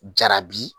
Jarabi